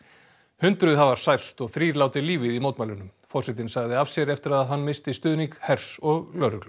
hundruð hafa særst og þrír látið lífið í mótmælunum forsetinn sagði af sér eftir að hann missti stuðning hers og lögreglu